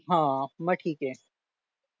हा मग ठीक आहे